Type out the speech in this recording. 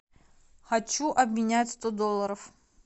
хочу обменять сто долларов